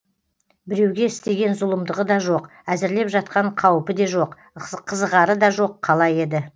біреуге істеген зұлымдығы да жоқ әзірлеп жатқан қауіпі де жоқ қызығары да жоқ қала еді